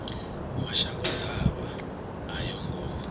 mashango ḓavha a yo ngo